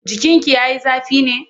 Jikinki ya yi zafi ne?